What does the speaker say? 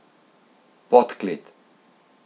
Podklet.